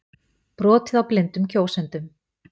Brotið á blindum kjósendum